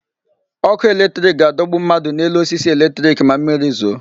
Ọkụ electric ga-adọgbu mmadụ n'elu osisi electric ma mmiri zoo.